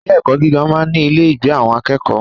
Ilé ẹ̀kọ́ gíga máa ń ní ilé ìgbé àwọn akẹ́kọ̀ọ́.